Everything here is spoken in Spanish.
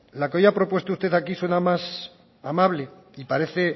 la que hoy ha propuesto usted aquí suena más amable y parece